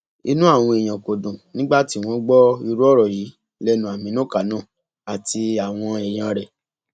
inú àwọn èèyàn kò dùn nígbà tí wọn gbọ irú ọrọ yìí lẹnu àmínú kánò àti àwọn èèyàn rẹ